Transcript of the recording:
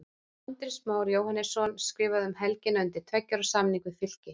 Andrés Már Jóhannesson skrifaði um helgina undir tveggja ára samning við Fylki.